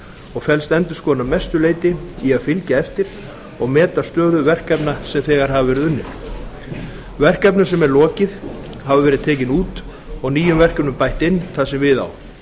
og felst endurskoðun að mestu leyti í að fylgja eftir og meta stöðu verkefna sem þegar hafa verið unnin verkefni sem er lokið hafa verið tekin út og nýjum verkefnum bætt inn þar sem við á